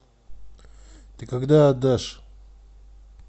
ты когда отдашь